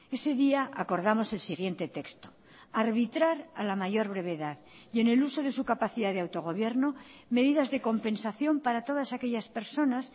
ese día acordamos el siguiente texto arbitrar a la mayor brevedad y en el uso de su capacidad de autogobierno medidas de compensación para todas aquellas personas